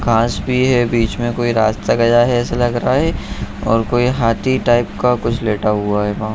घास भी है बीच में कोई रास्ता गया है ऐसा लग रहा है और कोई हाथी टाइप का कुछ लेटा हुआ है वहाँ।